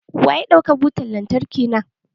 Wa ya ɗauki butan lantarki na?